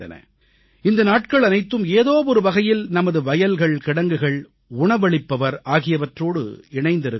இந்த நாட்கள் அனைத்தும் ஏதோ ஒரு வகையில் நமது வயல்கள்கிடங்குகள் உணவளிப்பவர் ஆகியவற்றோடு இணைந்திருக்கின்றன